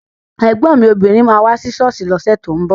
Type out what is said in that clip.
Ẹ̀gbọ́n mi obìnrin máa wá sí ṣọ́ọ̀ṣì lọ́sẹ̀ tó ń bọ̀